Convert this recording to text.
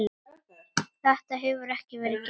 Þetta hefur ekki verið gert.